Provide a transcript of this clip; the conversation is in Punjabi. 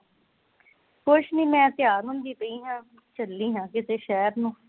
ਕੁਛ ਨਹੀਂ ਮੈਂ ਤਿਆਰ ਹੁੰਦੀ ਪਈ ਹਾ ਚੱਲੀ ਹਾਂ ਕਿਤੇ ਸ਼ਹਿਰ ਨੂੰ